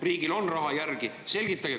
Riigil on raha järel, selgitage …